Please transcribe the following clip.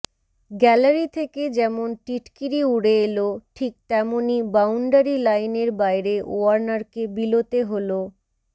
gallery থেকে যেমন টিটকিরি উড়ে এল ঠিক তেমনই বাউন্ডারি লাইনের বাইরে ওয়ার্নারকে বিলোতে হল